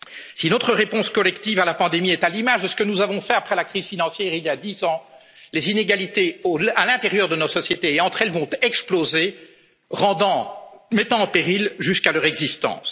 fouet. Si notre réponse collective à la pandémie est à l'image de ce que nous avons fait après la crise financière, il y a dix ans, les inégalités à l'intérieur de nos sociétés et entre elles vont exploser, mettant en péril jusqu'à leur